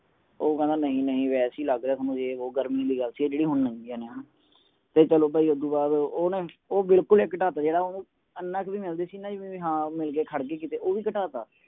ਉਹ ਕਹਿੰਦਾ ਨਹੀਂ ਨਹੀਂ ਵੈਸੇ ਹੀ ਲਗ ਰਿਹਾ ਹੈ ਥੋਨੂੰ ਇਹ ਉਹ ਗਰਮੀ ਦੀ ਗੱਲ ਸੀ ਜੇਡੀ ਹੁਣ ਲੰਗੀਆਂ ਨੇ ਹਣਾ ਤੇ ਚਲੋ ਬਈ ਓਸਦੋ ਬਾਦ ਉਹ ਨਾ ਉਹ ਬਿਲਕੁਲ ਈ ਘਟਾਤਾ ਜੇੜਾ ਇਹਨਾਂ ਇਕ ਵੀ ਮਿਲਦੀ ਸੀ ਨਾ ਬੀ ਹਾਂ ਮਿਲ ਗਯੀ ਤੇ ਖੜ ਗਈ ਕੀਤੇ ਉਹ ਵੀ ਘਟਾਤਾ